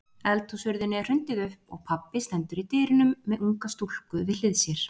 Eldhúshurðinni er hrundið upp og pabbi stendur í dyrunum með unga stúlku við hlið sér.